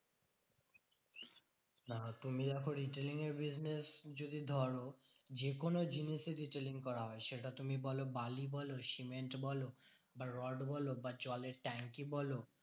তুমি এখন retailing এর business যদি ধরো যেকোনো জিনিসই retailing করা হয়। সেটা তুমি বোলো বালি বোলো, সিমেন্ট বোলো বা রড বোলো বা জলের ট্যাংকি বোলো